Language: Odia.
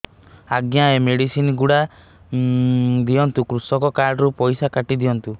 ଆଜ୍ଞା ଏ ମେଡିସିନ ଗୁଡା ଦିଅନ୍ତୁ କୃଷକ କାର୍ଡ ରୁ ପଇସା କାଟିଦିଅନ୍ତୁ